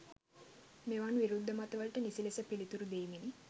මෙවන් විරුද්ධ මත වලට නිසි ලෙස පිලිතුරු දීමෙනි.